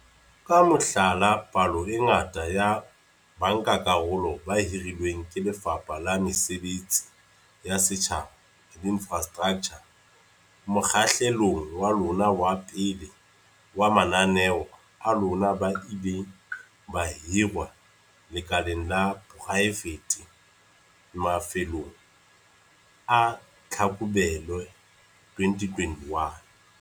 Ka mohlala, palo e ngata ya bankakarolo ba hirilweng ke Lefapha la Mesebetsi ya Setjhaba le Infrastraktjha mokgahlelong wa lona wa pele wa mananeo a lona ba ile ba hirwa lekaleng la poraefete mafelong a Tlhakubele 2021.